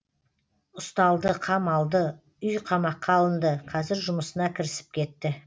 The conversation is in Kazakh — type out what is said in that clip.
ұсталды қамалды үйқамаққа алынды қазір жұмысына кірісіп кетті